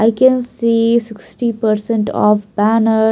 I can see sixty percent of banner.